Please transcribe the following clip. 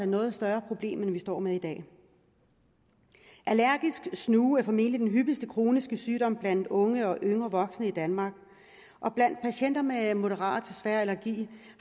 noget større problem end vi står med i dag allergisk snue er formentlig den hyppigste kroniske sygdom blandt unge og yngre voksne i danmark blandt patienter med moderat til svær allergi